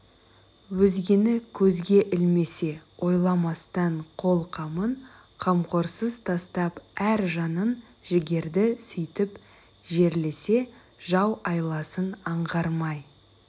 өзгені көзге ілмесе ойламастан қол қамын қамқорсыз тастап әр жанын жігерді сүйтіп жерлесе жау айласын аңғармай